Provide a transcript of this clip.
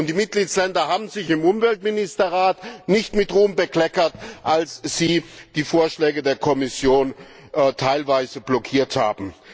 Die Mitgliedstaaten haben sich im Umweltministerrat nicht mit Ruhm bekleckert, als sie die Vorschläge der Kommission teilweise blockiert haben.